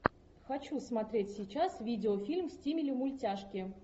хочу смотреть сейчас видеофильм в стиле мультяшки